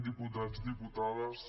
diputats diputades